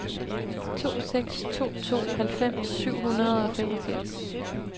to seks to to halvfems syv hundrede og femogfirs